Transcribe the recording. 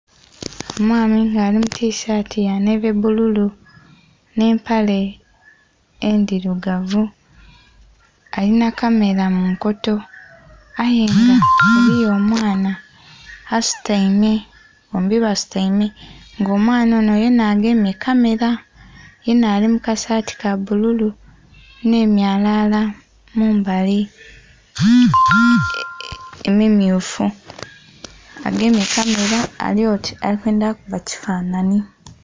Omwami nga ali mutishaati yanheve bbululu nh'empale edhirugavu alinha kamera munkoto ayenga eriyo omwaana asutaime bombi basutaime nga omwaana onho yenha agemye ekamera yenha alimukasati kabbululu nh'emyalala mumbali emimmyufu agemye kamera alyoti alikwendha kuba kifanhanhi.